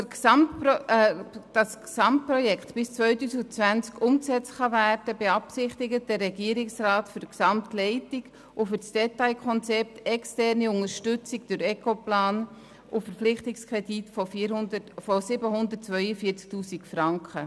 Damit das Gesamtprojekt bis 2020 umgesetzt werden kann, beabsichtigt der Regierungsrat für die Gesamtleitung und das Detailkonzept externe Unterstützung durch Ecoplan sowie einen Verpflichtungskredit von 742 000 Franken.